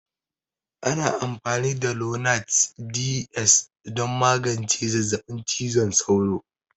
Ana amfani da lonart Ds don magance zazzabin cizon sauro.